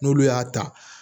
N'olu y'a ta